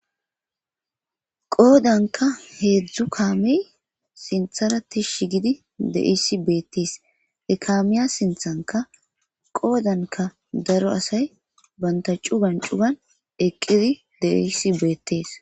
Qoodanka heedzdzu kaamey sintharati shi gidi deisi beettis ekaamiya sinthanka qoodanka daro asay banta cu gancuban eqqidi deisi beettees.